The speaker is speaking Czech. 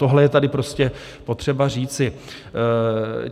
Tohle je tady prostě potřeba říci.